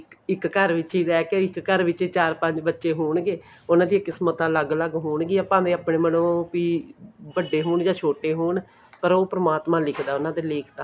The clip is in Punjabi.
ਇੱਕ ਘਰ ਵਿੱਚ ਹੀ ਰਿਹ ਕੇ ਇੱਕ ਘਰ ਵਿੱਚ ਚਾਰ ਪੰਜ ਬੱਚੇ ਹੋਣਗੇ ਉਹਨਾ ਦੀਆਂ ਕਿਸਮਤਾਂ ਅਲੱਗ ਅਲੱਗ ਹੋਣਗੀਆਂ ਭਾਵੇਂ ਆਪਣੇ ਮਨੋ ਵੀ ਵੱਡੇ ਹੋਣ ਜਾਂ ਛੋਟੇ ਹੋਣ ਪਰ ਉਹ ਪਰਮਾਤਮਾ ਲਿਖਦਾ ਉਹਨਾ ਦੇ ਲੇਖ ਤਾਂ